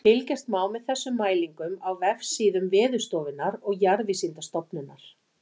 Fylgjast má með þessum mælingum á vefsíðum Veðurstofunnar og Jarðvísindastofnunar.